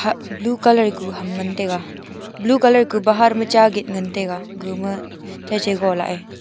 blue colour kuk ham ngan taiga blue colour kuh bahar ma cha gate ngan ngan taiga gama chacha gala a.